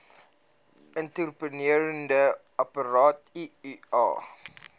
intrauteriene apparaat iua